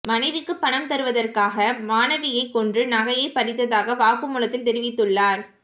மனைவிக்கு பணம் தருவதற்காக மாணவியை கொன்று நகையை பறித்ததாக வாக்குமூலத்தில் தெரிவித்துள்ளார்